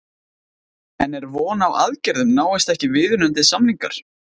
En er von á aðgerðum náist ekki viðunandi samningar?